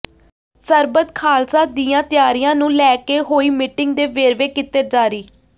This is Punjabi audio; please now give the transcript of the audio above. ਸਰਬੱਤ ਖਾਲਸਾ ਦੀਆਂ ਤਿਆਰੀਆਂ ਨੂੰ ਲੈ ਕੇ ਹੋਈ ਮੀਟਿੰਗ ਦੇ ਵੇਰਵੇ ਕੀਤੇ ਜਾਰੀ